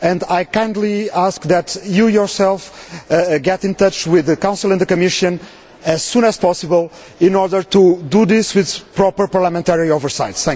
I kindly ask that you personally get in touch with the Council and the Commission as soon as possible in order to do this with proper parliamentary oversight.